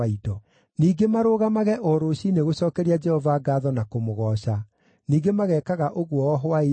Ningĩ marũgamage o rũciinĩ gũcookeria Jehova ngaatho na kũmũgooca. Ningĩ magekaga ũguo o hwaĩ-inĩ,